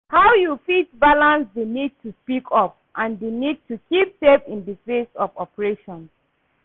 How you fit balance di need to speak up and di need to keep safe in di face of oppression?